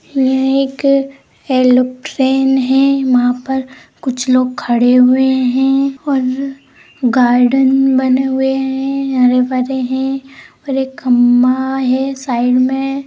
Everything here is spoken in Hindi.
यह एक ऐरोप्लेन है वहां पर कुछ लोग खड़े हुए है और गार्डन बने हुए है हरे-भरे है और एक खंभा है साइड में।